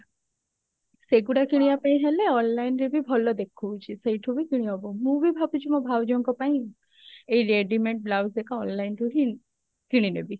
ସେଗୁଡା କିଣିବା ପାଇଁ ହେଲେ online ରେ ବି ଭଲ ଦେଖଉଛି ସେଇଠୁ ବି କିଣିହବ ମୁଁ ବି ଭାବୁଛି ମୋ ଭାଉଜଙ୍କ ପାଇଁ ଏଇ readymade blouse ଦେଖ online ରୁ ହିଁ କିଣିନେବି